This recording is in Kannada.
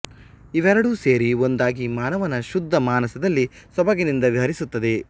ಇವೆರಡೂ ಸೇರಿ ಒಂದಾಗಿ ಮಾನವನ ಶುದ್ಧ ಮಾನಸದಲ್ಲಿ ಸೊಬಗಿನಿಂದ ವಿಹರಿಸುತ್ತದೆ